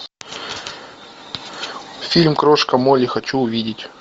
фильм крошка молли хочу увидеть